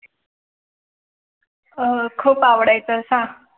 आह खूप आवडायचा सांग.